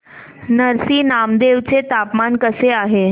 नरसी नामदेव चे तापमान कसे आहे